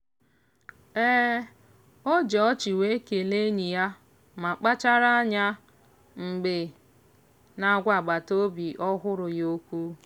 o ji ọchị wee kelee enyi ya ma kpachara anya mgbe na-agwa agbataobi ọhụrụ ya okwu.